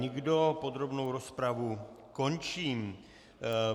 Nikdo, podrobnou rozpravu končím.